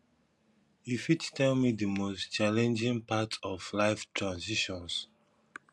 you fit tell me di most challenging part of life transitions